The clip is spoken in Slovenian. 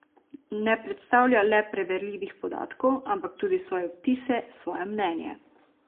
Ne predstavlja le preverljivih podatkov, ampak tudi svoje vtise, svoje mnenje.